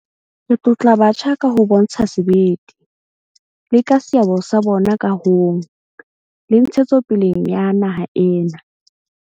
Re tlotla batjha ka ho bontsha sebete, le ka seabo sa bona kahong le ntshetsopeleng ya naha ena.